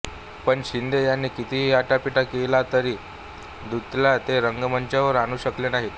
पण शिंदे यांनी कितीही आटापिटा केला तरी दत्तूला ते रंगमंचावर आणू शकले नाहीत